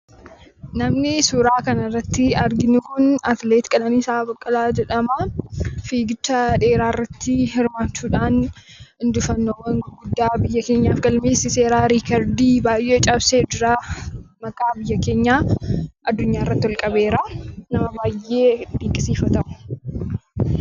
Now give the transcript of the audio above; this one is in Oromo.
Namni suuraa kana irratti arginu kun atileetii Qananiisaa Baqqalaa jedhama. Fiigicha dheeraa irratti hirmaachuudhaan injifannoo guddaa biyya keenyaaf galmeessiseera: riikardii baay'ee cabsee jira. Maqaa biyya keenyaa addunyaa irratti ol qabeera. Nama baay'ee dinqisiifatamudha.